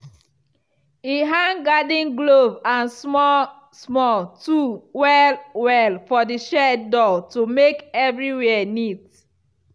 e hang garden glove and small-small tool well-well for the shed door to make everywhere neat.